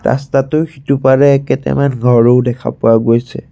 ৰাস্তাটোৰ সিটোপাৰে কেটেমান ঘৰও দেখা পোৱা গৈছে।